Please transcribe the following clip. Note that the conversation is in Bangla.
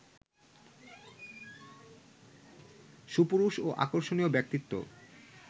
সুপুরুষ ও আকর্ষর্ণীয ব্যক্তিত্ব